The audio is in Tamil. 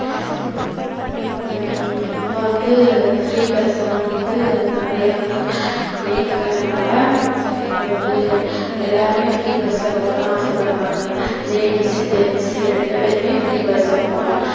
உம் இப்ப வந்து free bus எல்லாம் வந்து நெறைய வந்து இயங்குறதுனால, இப்ப வந்து எல்லாருமே free bus ல போதான் ஆசப்படுறாங்க. ladies gents ரெண்டு பேருமே free bus ல போணும்.